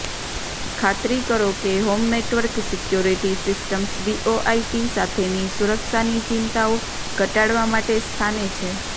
ખાતરી કરો કે home network security systems VoIP સાથેની સુરક્ષાની ચિંતાઓ ઘટાડવા માટે સ્થાને છે